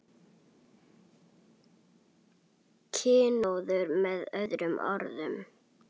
Kynóður með öðrum orðum.